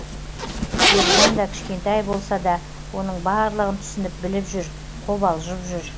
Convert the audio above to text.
ержан да кішкентай болса да оның барлығын түсініп біліп жүр қобалжып жүр